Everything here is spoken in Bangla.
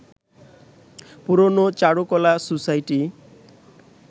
পুরনো চারুকলা সোসাইটি